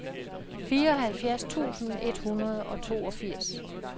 fireoghalvfjerds tusind et hundrede og toogfirs